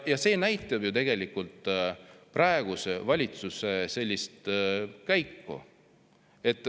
See näitab ju tegelikult praeguse valitsuse sellist käiku.